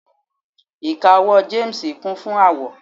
ika owó James Kun fún awọ